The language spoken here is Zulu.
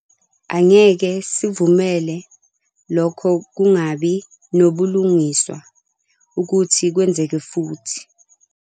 Angeke sivumele lokho kungabi nabulungiswa ukuthi kwenzeke futhi.